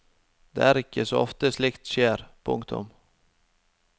Det er ikke så ofte slikt skjer. punktum